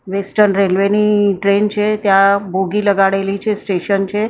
Western railway ની train છે ત્યાં બોગી લગાડેલી છે સ્ટેશન છે.